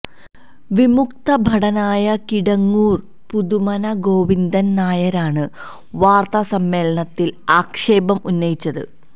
വിമുക്തഭടനായ കിടങ്ങൂര് പുതുമന ഗോവിന്ദന് നായരാണ് വാര്ത്താ സമ്മേളനത്തില് ആക്ഷേപം ഉന്നയിച്ചത്